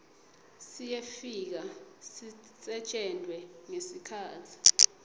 siyefika sisetjentwe ngesikhatsi